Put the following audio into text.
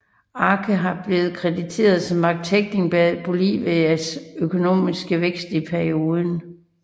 Arce har blevet krediteret som arkitekten bag Bolivias økonomiske vækst i perioden